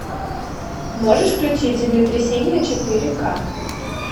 можешь включить землетрясение четыре ка